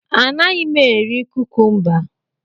Anaghị m eri kukumba.